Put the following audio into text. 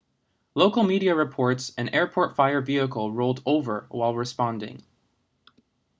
local media reports an airport fire vehicle rolled over while responding